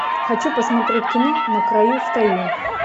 хочу посмотреть кино на краю стою